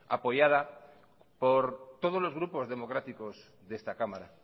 apoyada por todos los grupos democráticos de esta cámara